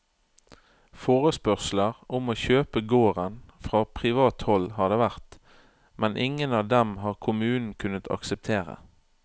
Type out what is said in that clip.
Forespørsler om å kjøpe gården fra privat hold har det vært, men ingen av dem har kommunen kunnet akseptere.